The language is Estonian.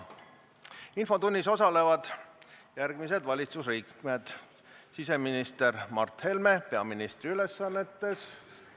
Infotunnis osalevad järgmised valitsusliikmed: siseminister Mart Helme peaministri ülesannetes.